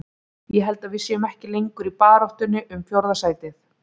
Ég held að við séum ekki lengur í baráttunni um fjórða sætið.